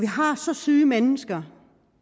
har så syge mennesker